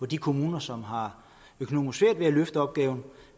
de kommuner som har økonomisk svært ved at løfte opgaven